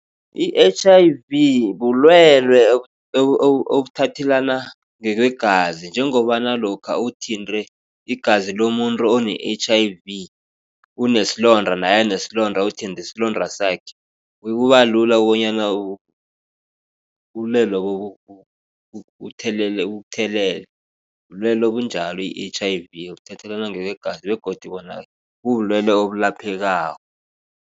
I-H_I_V bulwele obuthathelana ngekwegazi. Njengobana lokha uthinte igazi lomuntu one-H_I_V une isilonda naye anesilonda uthinte isilonda sakhe kuba lula bonyana ubulwele lobo bukuthelele. Bulwele obunjalo i-H_I_V buthathelana ngokwegazi begodu bubulwele obulaphekako.